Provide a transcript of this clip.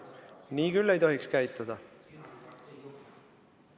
Nii küll ei tohiks käituda.